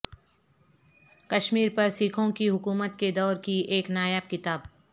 کشمیر پر سکھوں کی حکومت کے دور کی ایک نایاب کتاب